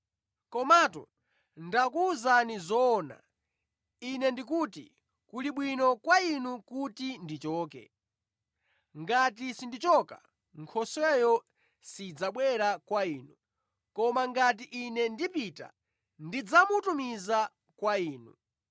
Komatu ndakuwuzani zoona. Ine ndikuti kuli bwino kwa inu kuti ndichoke. Ngati sindichoka, Nkhosweyo sidzabwera kwa inu, koma ngati Ine ndipita, ndidzamutumiza kwa inu.